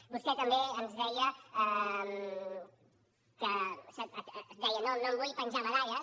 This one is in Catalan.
vostè també ens deia no em vull penjar medalles